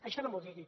això no m’ho digui